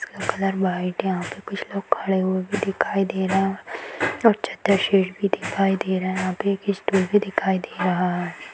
इसका colour white है यहाँ पे कुछ लोग खड़े हुए भी दिखाई दे रहे हैं अच्छा तस्वीर भी दिखाई दे रहा है यहाँ पे एक स्टूल भी दिखाई दे रहा है।